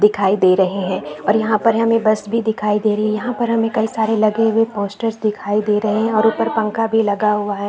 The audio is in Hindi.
दिखाई दे रहे है और यहाँ पर हमें बस भी दिखाई दे रहे है यहाँ पर हमें कई सारे लगे हुए पोस्टर्स भी दिखाई दे रहे है और उपर पंखा भी लगा हुआ है।